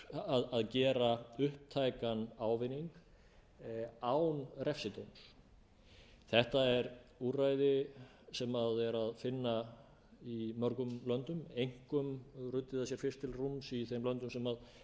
um að gera upptækan ávinning án refsidóms þetta er úrræði sem er að finna í mörgum löndum einkum ruddu þau sér fyrst til rúms í þeim löndum sem